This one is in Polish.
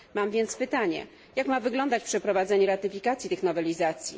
Mam więc pytanie, jak ma wyglądać przeprowadzenie ratyfikacji tych nowelizacji?